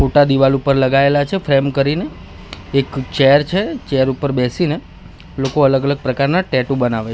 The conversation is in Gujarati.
ફોટા દીવાલ ઉપર લગાઇલા છે ફ્રેમ કરીને એક ચેર છે ચેર ઉપર બેસીને લોકો અલગ અલગ પ્રકારના ટેટુ બનાવે--